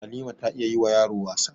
Halima ta iya yi wa yaro wasa